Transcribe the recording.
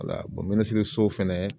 minisiriso fɛnɛ